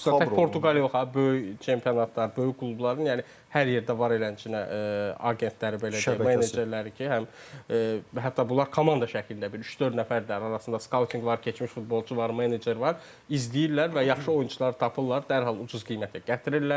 Xüsusən tək Portuqaliya yox ha, böyük çempionatlar, böyük klubların yəni hər yerdə var elə əncınə agentləri belə deyək menecerləri ki, həm hətta bunlar komanda şəklində bir üç-dörd nəfərdə arasında skautinq var, keçmiş futbolçu var, menecer var, izləyirlər və yaxşı oyunçular tapırlar, dərhal ucuz qiymətə gətirirlər.